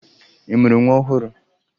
Ị mụrụ nwa ọhụrụ?